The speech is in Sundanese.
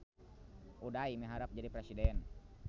Uday miharep jadi presiden